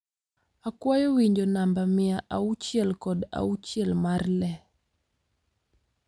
akwayo winjo namba mia auchiel kod auchiel mar le